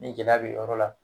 Ni gɛlɛya be yen yɔrɔ la